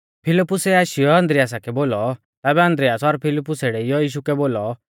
फिलिप्पुसै आशीयौ आन्द्रियासा कै बोलौ तैबै आन्द्रियास और फिलिप्पुसै डेइऔ यीशु कै बोलौ